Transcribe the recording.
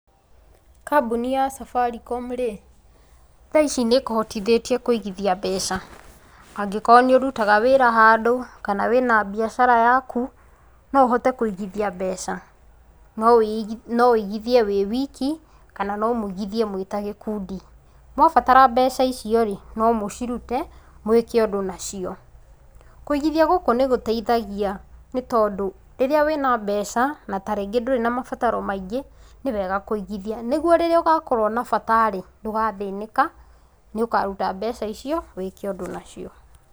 Kambuni ya Safaricom rĩ, tha ici nĩ ĩkũhotithĩtie kũigithia mbeca. Angĩkorwo nĩ ũrutaga wĩra handũ, kana wĩna mbiacara yaku, no ũhote kũigithia mbeca. No ũigithia wĩ wiki, kana no mũigithie mwĩ ta gĩkundi. Mwabatara mbeca icio rĩ, no mũcirute, mwĩke ũndũ nacio. Kũigithia gũku nĩ gũteithagia nĩ tondũ, rĩrĩa wena mbeca, na ta rĩngĩ ndũrĩ na mabataro maingĩ, nĩ wega kũigithia. Nĩguo rĩrĩa ũgakorwo na bata rĩ, ndũgathĩnĩka. Nĩ ũkaruta mbeca icio, wĩke ũndũ nacio.